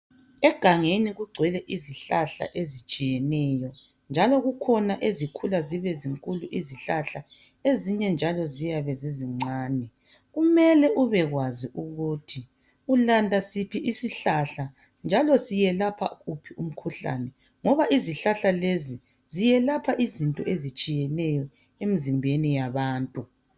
Egangeni kugcwele izihlahla ezitshiyeneyo njalo kukhona ezikhula zibe zinkulu izihlahla ezinye njalo ziyabe zizincane kumele ubekwazi ukuthi ulanda siphi isihlahla njalo siyelapha wuphi umkhuhlane ngoba izihlahla lezi ziyelapha izinto ezitshiyeneyo emzimbeni yabantu.